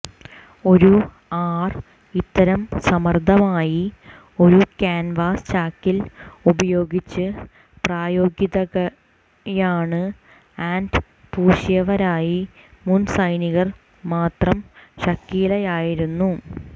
ഒരു ആർ ഇത്തരം സമർഥമായി ഒരു ക്യാൻവാസ് ചാക്കിൽ ഉപയോഗിച്ച് പ്രായോഗികതയാണ് ആൻഡ് പൂശിയവരായി മുൻ സൈനികർ മാത്രം ഷക്കീലയായിരുന്നു